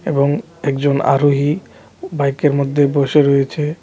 এবং একজন আরোহী বাইকের মধ্যে বসে রয়েছে .